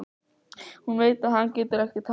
Hún veit að hann getur ekki talað.